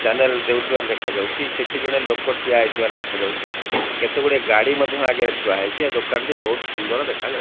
Channel ଦେଉଥିବାର ଦେଖା ଯାଉଚି। ସେଠି ଜଣେ ଲୋକ ଠିଆ ହେଇଥିବାର ଦେଖାଯାଉଚି। କେତେଗୁଡ଼ାଏ ଗାଡ଼ି ମଧ୍ୟ ଆଗରେ ଥୁଆ ହେଇଚି। ଆଉ ଦୋକାନଟି ବହୁତ୍ ସୁନ୍ଦର ଦେଖା ଯାଉଚି।